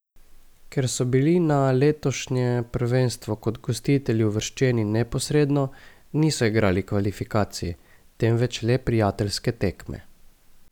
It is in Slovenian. Ker so bili na letošnje prvenstvo kot gostitelji uvrščeni neposredno, niso igrali kvalifikacij, temveč le prijateljske tekme.